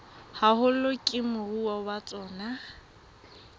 haholo ke moruo wa tsona